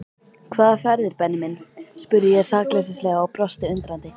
Hvaða ferðir Benni minn? spurði ég sakleysislega og brosti undrandi.